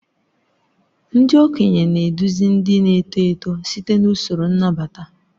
Ndị okenye na-eduzi ndị na-eto eto site n'usoro nnabata.